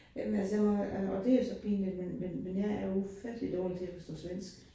Jamen altså jeg må jo, og og det er så pinligt, men men men jeg er ufattelig dårlig til at forstå svensk